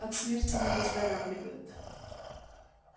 от смерти не выздоравливают